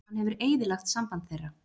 Hann hefur eyðilagt samband þeirra.